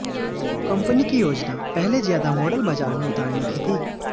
company की योजना पहले ज्यादा मॉडल बाजार में उतारने की थी